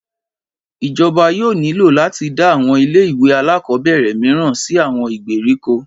Ìjọba yóò nílò láti dá àwọn ilé ìwé alákọ̀ọ́bẹ̀rẹ̀ mìíràn sì àwọn ìgbèríko